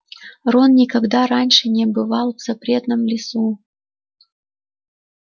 рон никогда раньше не бывал в запретном лесу